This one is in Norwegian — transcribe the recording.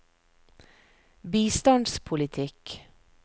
bistandspolitikk